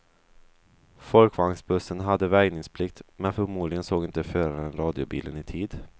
Folkvagnsbussen hade väjningsplikt, men förmodligen såg inte föraren radiobilen i tid.